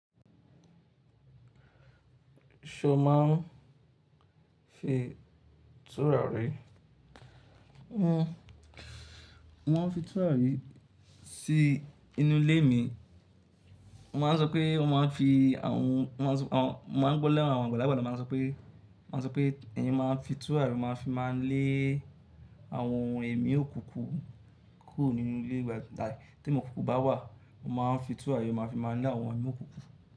Ṣo ma n fin tùràrí? Wọ́n ń fi tùrà rí sí inú ilé mi. Wọ́n máa n sọ pé wọ́n ma n fi àwọn-- wọ́n maa, mo maa n gbọ́ lẹ́nu àwọn àgbàlagbà tì wón máa ń sọ pé, wón a sopè, ẹ̀yàn ma ń fi túrà rí, wọ́n maa fi maa n lé àwọn ẹ̀mí òkùnkùn kúrò nínu ilé wa. Tí èmí òkùnkùn bá wà, wọ́n ma n fi tùrà rí, wọ́n ma fi máa n lé àwọn èmí òkùnkùn.